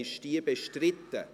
Ist sie bestritten?